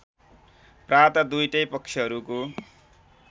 प्रात दुईटै पक्षहरूको